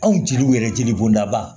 Anw jeliw yɛrɛ jeli bɔnda ba